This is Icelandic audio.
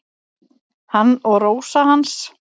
Hann og Rósa hans.